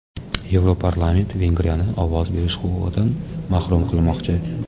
Yevroparlament Vengriyani ovoz berish huquqidan mahrum qilmoqchi.